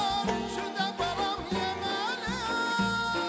Heyvanat, cücə, balam yeməli.